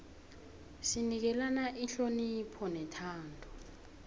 sinikelana ihonopho nethando